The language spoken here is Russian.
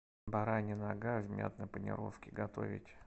баранья нога в мятной панировке готовить